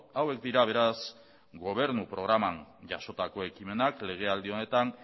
hauek dira beraz gobernu programan jasotako ekimenak legealdi honetan